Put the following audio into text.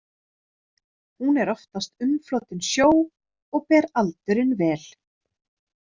Hún er oftast umflotin sjó og ber aldurinn vel.